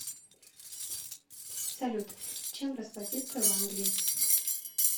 салют чем расплатиться в англии